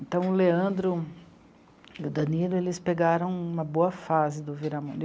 Então, o Leandro e o Danilo, eles pegaram uma boa fase do Viramundo.